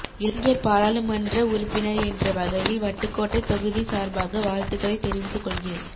இளைஞர் பாராளும்ன்ற உறுப்பினர் என்ற வகையில் வட்டுக்கோட்டை தொகுதி சார்பாக வாழ்த்துகளை தெரிவித்து கொள்கிறேன்